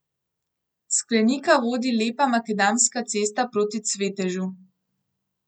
S Klenika vodi lepa makadamska cesta proti Cvetežu.